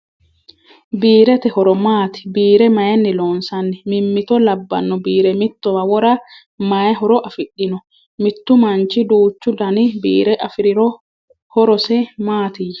Biirete horo maati? Biire mayiinni loonsanni? Mimmitto labbanno biire mittowa wora mayii horo afidhino? Mittu manchi duuchu dani biire afiriro horese maatiyya?